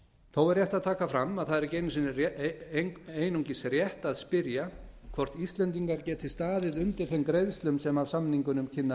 þó er rétt að taka fram að það er ekki einungis rétt að spyrja hvort íslendingar geti staðið undir þeim greiðslum sem af samningunum kynni